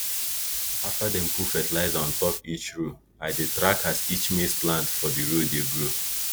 after dem put fertilizer on top each row i dey track as each maize plant for di row dey grow